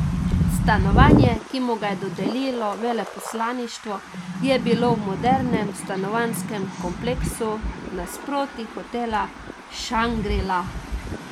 Stanovanje, ki mu ga je dodelilo veleposlaništvo, je bilo v modernem stanovanjskem kompleksu nasproti hotela Šangri La.